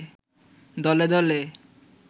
দলে দলে